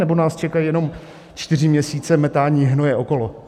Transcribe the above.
Nebo nás čekají jenom čtyři měsíce metání hnoje okolo?